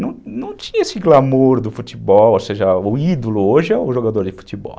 Não não tinha esse glamour do futebol, ou seja, o ídolo hoje é o jogador de futebol.